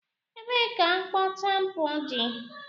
Ebee ka mkpọ tampon dị?